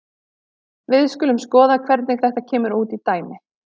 Við skulum skoða hvernig þetta kemur út í dæmi.